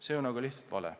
See on lihtsalt vale.